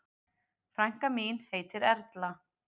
Frænka mín heitir Erla.